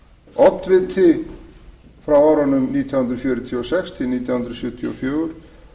oddviti nítján hundruð fjörutíu og sex til nítján hundruð sjötíu og fjögur